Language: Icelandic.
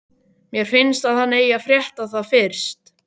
Mér finnst að hann eigi að frétta það fyrst.